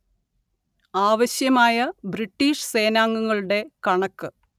ആവശ്യമായ ബ്രിട്ടീഷ് സേനാംഗങ്ങളുടെ കണക്ക്